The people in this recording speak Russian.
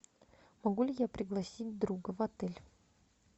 могу ли я пригласить друга в отель